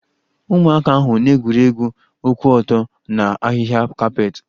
Ụmụaka ahụ na-egwuri egwu ụkwụ ọtọ na ahịhịa kapet